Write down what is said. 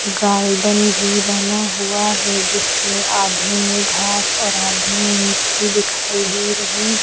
garden भी बना हुआ है जिसमें आधे में घास और आधे में मिट्टी दिखाई दे रही --